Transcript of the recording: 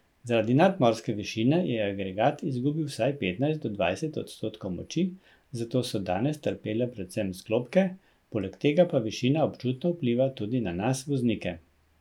Zaradi nadmorske višine je agregat izgubil vsaj petnajst do dvajset odstotkov moči, zato so danes trpele predvsem sklopke, poleg tega pa višina občutno vpliva tudi na nas, voznike.